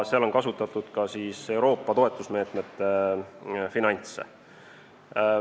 Seal on kasutatud ka Euroopa toetusmeetmete finantse.